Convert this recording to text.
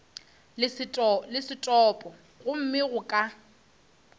le setopo gomme go ka